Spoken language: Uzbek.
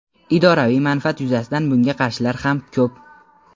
idoraviy manfaat yuzasidan bunga qarshilar ham ko‘p.